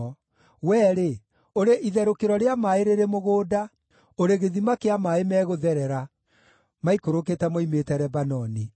Wee-rĩ, ũrĩ itherũkĩro rĩa maaĩ rĩrĩ mũgũnda, ũrĩ gĩthima kĩa maaĩ megũtherera, maikũrũkĩte moimĩte Lebanoni.